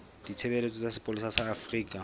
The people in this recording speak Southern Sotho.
ditshebeletso tsa sepolesa sa afrika